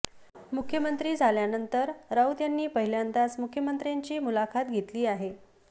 मुख्यमंत्री झाल्यानंतर राऊत यांनी पहिल्यांदाच मुखमंत्र्यांची मुलाखत घेतली आहे